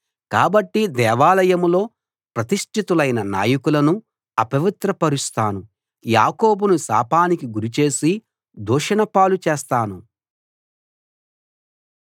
కాబట్టి దేవాలయంలో ప్రతిష్ఠితులైన నాయకులను అపవిత్రపరుస్తాను యాకోబును శాపానికి గురిచేసి దూషణ పాలు చేస్తాను